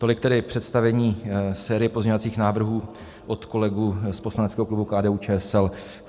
Tolik tedy představení série pozměňovacích návrhů od kolegů z poslaneckého klubu KDU-ČSL.